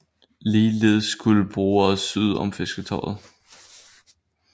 Ligeledes skulle brugere syd om Fisketorvet